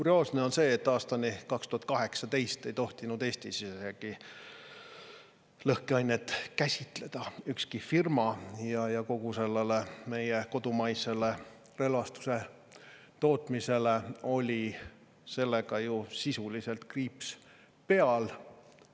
Kurioosne on see, et aastani 2018 ei tohtinud ükski firma Eestis isegi lõhkeainet ja kogu meie kodumaisel relvastuse tootmisel oli sellega ju sisuliselt kriips seal.